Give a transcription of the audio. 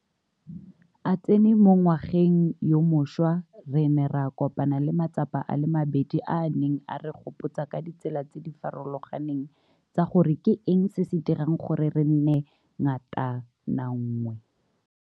a tsene mo ngwageng yo mošwa, re ne ra kopana le matsapa a le mabedi a a neng a re gopotsa ka ditsela tse di farologaneng tsa gore ke eng se se dirang gore re nne ngatananngwe.